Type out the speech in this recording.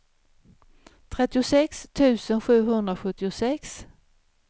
trettiosex tusen sjuhundrasjuttiosex